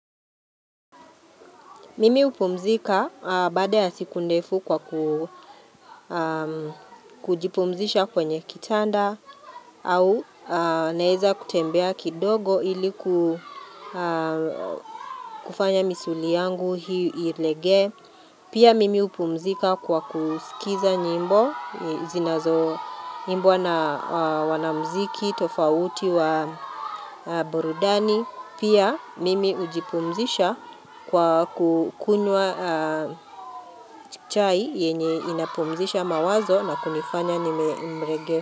Mimi hupumzika baada ya siku ndefu kwa kujipumzisha kwenye kitanda au naeza kutembea kidogo iliku kufanya misuli yangu hii ilegee Pia mimi hupumzika kwa kusikiza nyimbo, zinazo imbwa na wanamziki, tofauti wa burudani. Mimi hupumzika baada ya siku ndefu kwa kujipumzisha kwenye kitanda au naeza kutembea kidogo iliku kufanya misuli yangu hii ilegee.